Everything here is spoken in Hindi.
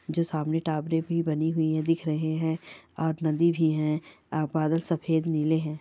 जो सामने टावरें भी बनी हुई हैं दिख रहे हैं और नदी भी हैं अ बादल सफेद नीले हैं।